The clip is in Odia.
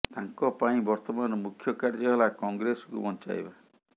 ତାଙ୍କ ପାଇଁ ବର୍ତ୍ତମାନ ମୁଖ୍ୟ କାର୍ଯ୍ୟ ହେଲା କଂଗ୍ରେସକୁ ବଂଚାଇବା